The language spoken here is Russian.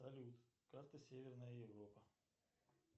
салют карта северная европа